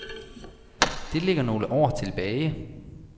Det ligger nogle år tilbage.